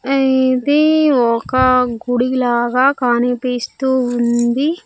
ఆ ఇది ఒక గుడి లాగా కనిపిస్తూ ఉంది.